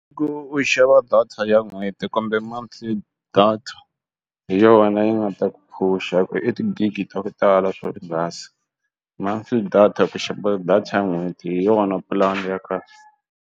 I ku u xava data ya n'hweti kumbe monthly data hi yona yi nga ta ku phusha i tigigi ta ku tala swo nghasi months data ku xava data n'hweti hi yona pulani ya kahle.